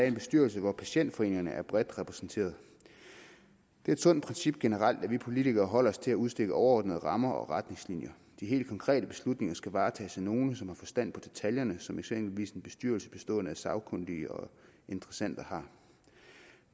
en bestyrelse hvor patientforeningerne er bredt repræsenteret det er et sundt princip generelt at vi politikere holder os til at udstikke overordnede rammer og retningslinjer de helt konkrete beslutninger skal varetages af nogle som har forstand på detaljerne som eksempelvis en bestyrelse bestående af sagkyndige og interessenter har